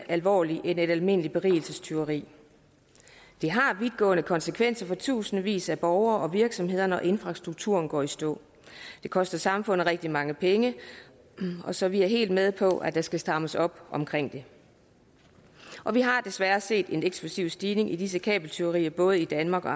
alvorligt end et almindeligt berigelsestyveri det har vidtgående konsekvenser for tusindvis af borgere og virksomheder når infrastrukturen går i stå det koster samfundet rigtig mange penge så vi er helt med på at der skal strammes op omkring det og vi har desværre set en eksplosiv stigning i disse kabeltyverier i både danmark og